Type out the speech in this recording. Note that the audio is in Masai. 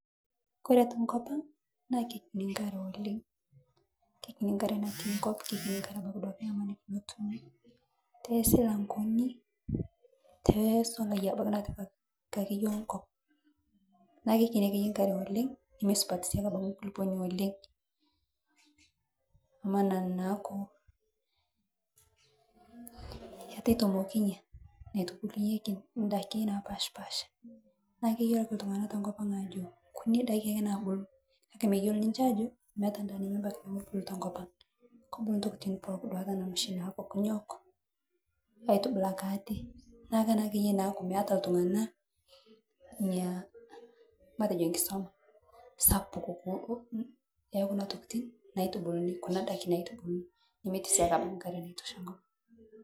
Oore enkop ang naa kaikinyi enkare oleng. kaikinyi enkare oleng neitoki sii aaku mesupat enkulukuoni oleng. Niaku kegol eunoto on'daiki napaashipaasha. Niaku keyiolo iltung'anak tenkop ang aajo inkunyi daiki aake nabulu. Niaku naakeyie naa meeta iltung'anak ina kisambuare sapuk.